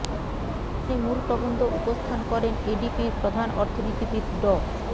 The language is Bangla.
অনুষ্ঠানে মূল প্রবন্ধ উপস্থান করেন এডিবির প্রধান অর্থনীতিবিদ ড